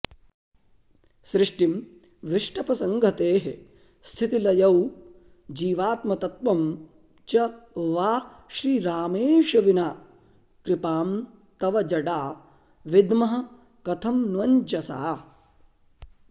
सृष्टिं विष्टपसंहतेः स्थितिलयौ जीवात्मतत्त्वं च वा श्रीरामेश विना कृपां तव जडा विद्मः कथं न्वञ्जसा